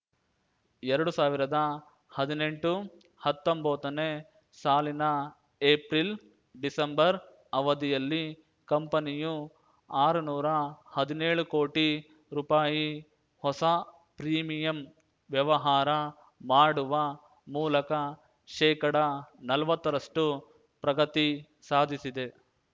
ಎರಡು ಸಾವಿರದ ಹದಿನೆಂಟುಹತ್ತೊಂಬತ್ತನೇ ಸಾಲಿನ ಏಪ್ರಿಲ್ಡಿಸೆಂಬರ್ ಅವಧಿಯಲ್ಲಿ ಕಂಪನಿಯು ಆರು ನೂರಾ ಹದಿನೇಳು ಕೋಟಿ ರೂಪಾಯಿ ಹೊಸ ಪ್ರೀಮಿಯಂ ವ್ಯವಹಾರ ಮಾಡುವ ಮೂಲಕ ಶೇಕಡ ನಲ್ವತ್ತರಷ್ಟು ಪ್ರಗತಿ ಸಾಧಿಸಿದೆ